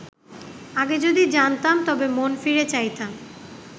আগে যদি জানতাম তবে মন ফিরে চাইতাম